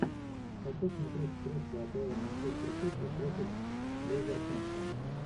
хочу смотреть встречу апл манчестер сити против вулверхэмптон